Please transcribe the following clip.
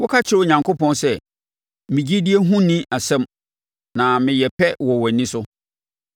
Woka kyerɛ Onyankopɔn sɛ, ‘Me gyidie ho nni asɛm na meyɛ pɛ wɔ wʼani so.’